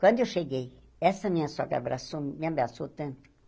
Quando eu cheguei, essa minha sogra abracou me me abraçou tanto.